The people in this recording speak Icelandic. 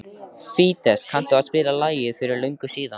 Fídes, kanntu að spila lagið „Fyrir löngu síðan“?